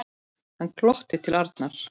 Hann glotti til Arnar.